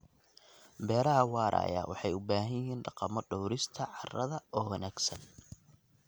Beeraha waaraya waxay u baahan yihiin dhaqamo dhawrista carrada oo wanaagsan.